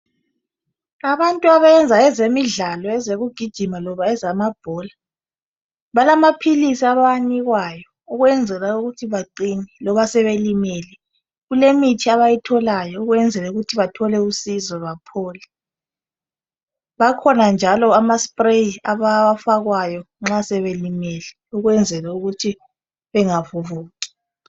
Abantu abayenza ezemidlalo ezokugijima loba ezamabhola balamaphilisi abawanikwayo ukwenzela ukuthi baqine. Loba sebelimele kulemithi abayitholayo ukwenzela ukuthi bathole usizo baphole. Akhona njalo ama spray abawafakwayo nxa sebelimele ukwenzela ukuthi bengavuvuki.